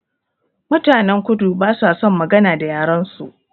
Mutanen kudu ba sa son magana da yaren su